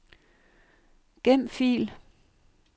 Gem fil.